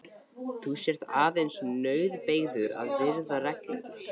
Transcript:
Þú sért aðeins nauðbeygður að virða reglurnar.